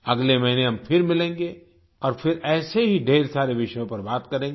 अगले महीने हम फिर मिलेंगे और फिर ऐसे ही ढ़ेर सारे विषयों पर बात करेंगे